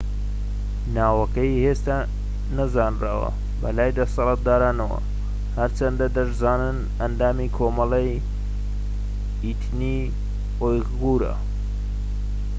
ناوەکەی هێشتا نەزانراوە بەلای دەسەڵاتدارانەوە هەرچەندە دەشزانن ئەندامی کۆمەڵەی ئیتنی ئویغورە